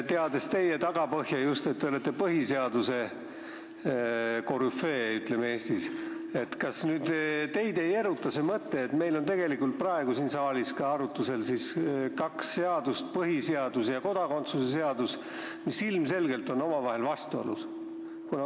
Teades teie tagapõhja, et te olete põhiseaduse korüfee Eestis, kas teid ei eruta see mõte, et meil on tegelikult praegu siin saalis arutusel kaks seadust, põhiseadus ja kodakondsuse seadus, mis on ilmselgelt omavahel vastuolus?